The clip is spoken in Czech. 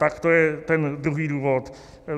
Tak to je ten druhý důvod.